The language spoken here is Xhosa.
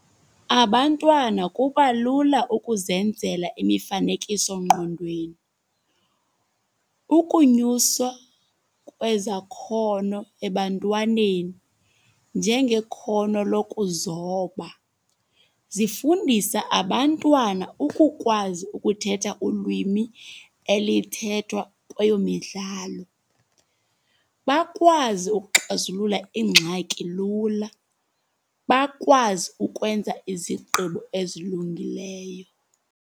Abantwana kuba lula ukuzenzela imifanekiso-ngqondweni. Ukunyuswa kwezakhono ebantwaneni, njengekhono lokuzoba. Zifundisa abantwana ukukwazi ukuthetha ulwimi elithethwa kweyo midlalo. Bakwazi ukuxazulula ingxaki lula. Bakwazi ukwenza izigqibo ezilungileyo.